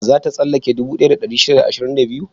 Za ta tsallake dubu ɗaya da ɗari shida da ashirin da biyu?